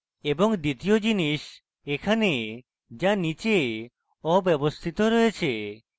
এবং দ্বিতীয় জিনিস এখানে যা নীচে অব্যাবস্থিত রয়েছে